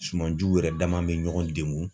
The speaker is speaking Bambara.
Sumanjuw yɛrɛ dama be ɲɔgɔn degun